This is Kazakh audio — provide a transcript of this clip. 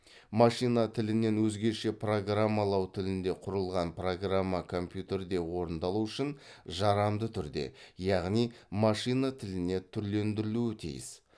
машина тілінен өзгеше программалау тілінде құрылған программа компьютерде орындалу үшін жарамды түрде яғни машина тіліне түрлендіруі тиіс